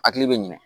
Hakili bɛ ɲinɛ